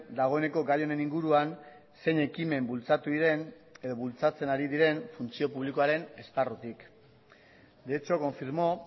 dagoeneko gai honen inguruan zein ekimen bultzatu diren edo bultzatzen ari diren funtzio publikoaren esparrutik de hecho confirmó